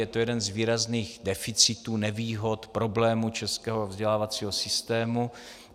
Je to jeden z výrazných deficitů, nevýhod, problémů českého vzdělávacího systému.